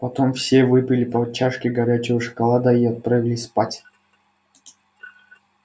потом все выпили по чашке горячего шоколада и отправились спать